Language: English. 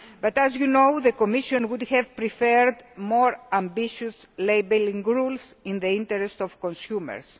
As you know, the Commission would have preferred more ambitious labelling rules in the interests of consumers.